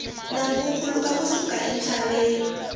nambu wu khuluka ku suka entshaveni